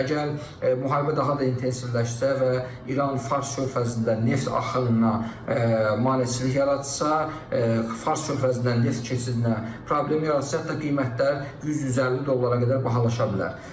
Əgər müharibə daha da intensivləşsə və İran Fars körfəzində neft axınına maneçilik yaratsa, Fars körfəzindən neft keçidinə problem yaratsa, hətta qiymətlər 100-150 dollara qədər bahalaşa bilər.